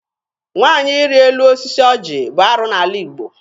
Nwaanyị ịrị elu osisi ọjị bụ arụ n'ala Igbo.